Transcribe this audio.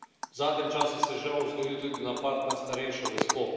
V zadnjem času se je žal zgodil tudi napad na starejšo gospo.